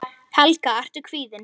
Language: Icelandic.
Helga: Ertu kvíðinn?